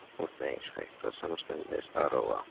Og þeir hætta samstundis að róa.